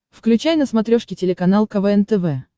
включай на смотрешке телеканал квн тв